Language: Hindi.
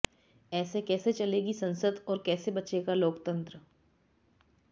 ऐसे कैसे चलेगी संसद और कैसे बचेगा लोकतंत्र